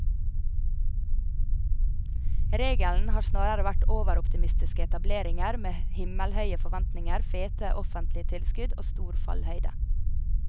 Regelen har snarere vært overoptimistiske etableringer med himmelhøye forventninger, fete offentlige tilskudd og stor fallhøyde.